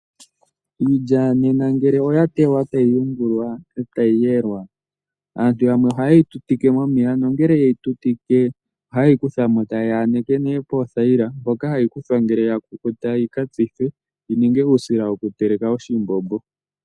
Iilya nena ngele oya tewa etayi yungulwa, etayi yelwa, aantu yamwe ohaye yi tutike momeya. Nongele ye yi tutike ohaye yi kutha mo eta ye yi yaneke poothayila, mpoka hayi kuthwa ngele ya kukuta yi ka tsithwe yi ninge uusila wokuteleka oshimbombo.